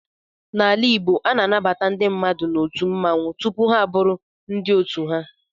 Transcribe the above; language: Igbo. N'ala Igbo, a na-anabata ndị mmadụ n'otu mmanwụ tupu ha abụrụ ndị otu ha.